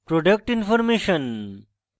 productinformation